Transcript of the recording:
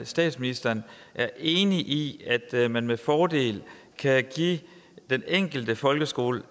statsministeren er enig i at man med fordel kan give den enkelte folkeskole